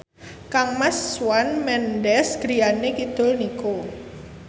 kangmas Shawn Mendes griyane kidul niku